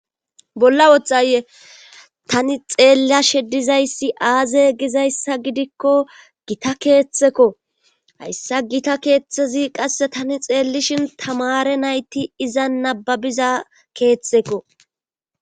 bolla wothaye tani xeellashe dizayssi aaze gizayssa gidikko gita keeththekko hayssa gita keeththezi qasse tani xeellishin tamare nayti iza nababiza keetheko.